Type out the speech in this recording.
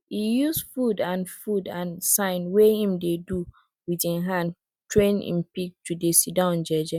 he use food and food and sign wey em dey do with em hand train em pig to dey sit down jeje